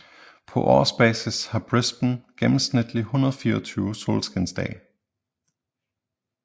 På årsbasis har Brisbane gennemsnitligt 124 solskinsdage